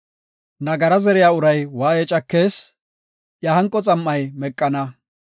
Nagara zeriya uray waaye cakees; iya hanqo xam7ay meqana.